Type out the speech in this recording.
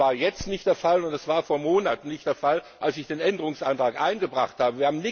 Das war jetzt nicht der Fall, und das war vor Monaten nicht der Fall, als ich den Änderungsantrag eingebracht habe.